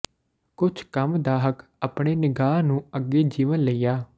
ਕੁਝ ਕੰਮ ਦਾ ਹੱਕ ਆਪਣੇ ਨਿਗਾਹ ਨੂੰ ਅੱਗੇ ਜੀਵਨ ਲਈ ਆ